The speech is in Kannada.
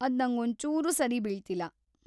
ಅದ್‌ ನಂಗೊಂಚೂರೂ ಸರಿ ಬೀಳ್ತಿಲ್ಲ.